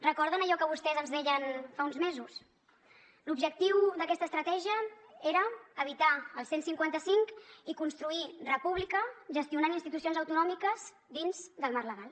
recorden allò que vostès ens deien fa uns mesos l’objectiu d’aquesta estratègia era evitar el cent i cinquanta cinc i construir república gestionant institucions autonòmiques dins del marc legal